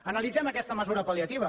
analitzem aquesta mesura pal·liativa